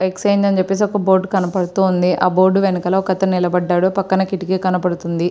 Exchange అని చెప్పేసి ఒక బోర్డు కనబడుతూ ఉంది. ఆ బోర్డు వెనకాల ఒక అతను నిలబడ్డాడు. పక్కన కిటికీ కనబడుతుంది.